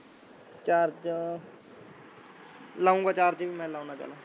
charger ਲਊਗਾਂ charging ਵੀ ਲਾਉਂਦਾ ਚੱਲ